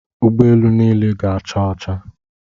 Ụgbọ elu niile ga-acha ọcha.